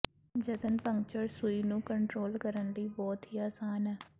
ਜਤਨ ਪੰਕਚਰ ਸੂਈ ਨੂੰ ਕੰਟਰੋਲ ਕਰਨ ਲਈ ਬਹੁਤ ਹੀ ਆਸਾਨ ਹੈ